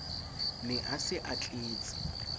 ne a se a tletse